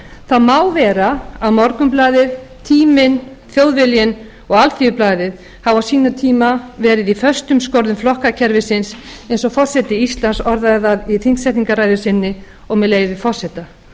það má vera að morgunblaðið tíminn þjóðviljinn og alþýðublaðið hafi á sínum tíma verið í skorðum flokkakerfisins eins og forseti íslands orðaði það í þingsetningarræðu sinni og með leyfi forseta